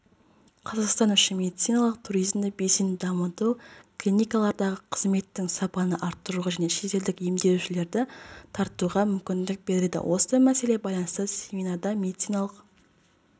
қазақстан үшін медициналық туризмді белсенді дамыту клиникалардағы қызметтің сапаны арттыруға және шетелдік емделушілерді тартуға мүмкіндік береді осы мәселе байланысты семинарда медициналық